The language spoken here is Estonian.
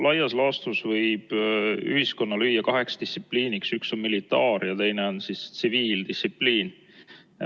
Laias laastus võib ühiskonna lüüa kaheks distsipliiniks: üks on militaar- ja teine on tsiviildistsipliin.